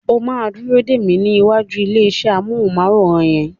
O máa dúró dè mí ní ìwàjú ilé iṣẹ́ amọ́hùnmáwòrán yẹn.